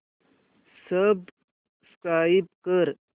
subscribe कर